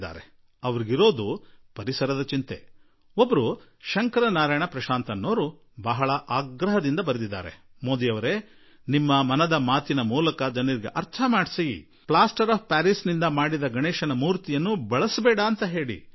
ಶ್ರೀಮಾನ್ ಶಂಕರ್ ನಾರಾಯಣ್ ಪ್ರಶಾಂತ್ ಎನ್ನುವವರು ಬಹಳವೇ ಆಗ್ರಹದಿಂದ ಹೇಳಿದ್ದಾರೆ ಮೋದಿಜೀಯವರೆ ನೀವು ಮನದ ಮಾತಿನಲ್ಲಿ ಪ್ಲಾಸ್ಟರ್ ಆಫ್ ಪ್ಯಾರೀಸ್ ನಿಂದ ಮಾಡಿದ ಗಣೇಶ್ ಜೀ ಮೂರ್ತಿಯನ್ನು ಉಪಯೋಗಿಸಬೇಡಿ ಎಂದು ಜನರಿಗೆ ಮನವರಿಕೆ ಮಾಡಿಕೊಡಿ